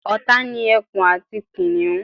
ọ̀tá ni ẹkun àti kìnìhún